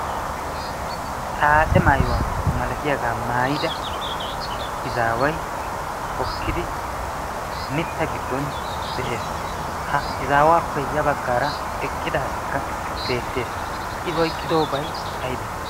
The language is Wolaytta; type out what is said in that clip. xaace maayuwaa malatiyaagaa maayida izaaway hokkidi mitta giddon de'ees. ha izaawaappe ya baggaara eqqida asikka beettees. i yiqqidoobay aybee?